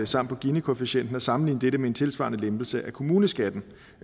samt på ginikoefficienten og at sammenligne dette med en tilsvarende lempelse af kommuneskatten